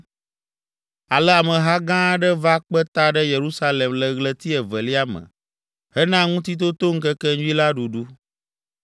Ale ameha gã aɖe va kpe ta ɖe Yerusalem le ɣleti evelia me hena Ŋutitotoŋkekenyui la ɖuɖu.